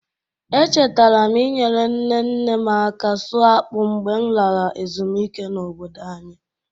Echetara m inyere nne nne m aka sụọ akpụ mgbe m lara ezumike n'obodo anyị.